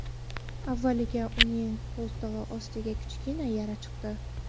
Avvaliga uning qo‘ltig‘i ostiga kichkina yara chiqdi.